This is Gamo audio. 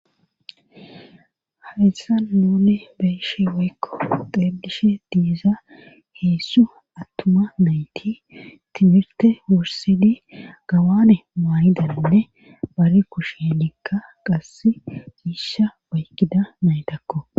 Hayssan nuni be7ishe woykko xeellishe diza heedzdzu attuma nayti timirtte wurssidi gawane mayidanne bari kusheenikka qassi miishsha oykkida naytakko.